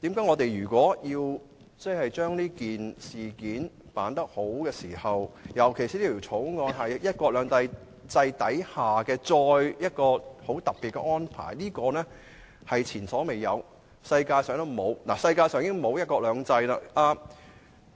我們應善盡議員的職責，特別考慮到《條例草案》關乎"一國兩制"下的一項特別安排，屬前所未有，而其他國家也沒有"一國兩制"。